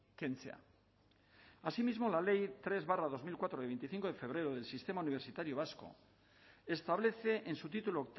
kentzea asimismo la ley tres barra dos mil cuatro de veinticinco de febrero del sistema universitario vasco establece en su título